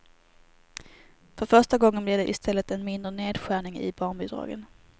För första gången blir det i stället en mindre nedskärning i barnbidragen.